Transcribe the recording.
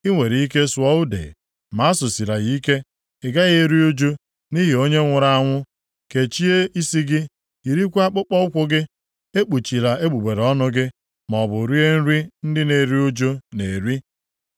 I nwere ike sụọ ude, ma asụsila ya ike. Ị gaghị eru uju nʼihi onye nwụrụ anwụ. Kechie isi gị, yirikwa akpụkpọụkwụ gị, ekpuchila egbugbere ọnụ gị, maọbụ rie nri ndị na-eru ụjụ na-eri.”